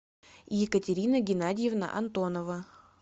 екатерина геннадьевна антонова